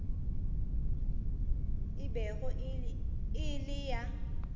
e bego e le ya